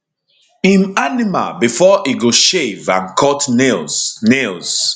im animal bifor e go shave and cut nails nails